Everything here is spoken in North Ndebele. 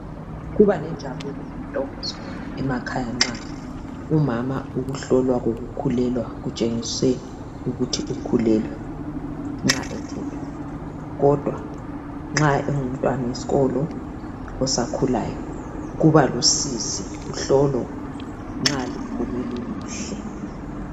Kuba lenjabulo lentokozo emakhaya nxa umama ukuhlolwa kokukhulelwa kutshengise ukuthi ukhulelwe nxa ethethwe kodwa nxa engumntwana wesikolo osakhulayo kuba lusizi kuhlolo nxa luphume luluhle